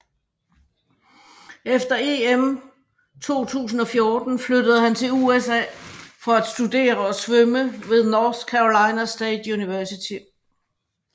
Efter EM 2014 flyttede han til USA for at studere og svømme ved North Carolina State University